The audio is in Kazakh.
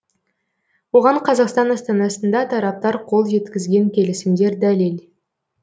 оған қазақстан астанасында тараптар қол жеткізген келісімдер дәлел